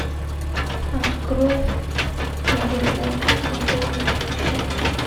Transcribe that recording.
открой мегафон пополнить счет